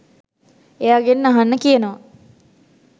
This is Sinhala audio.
එයාගෙන් අහන්න කියනවා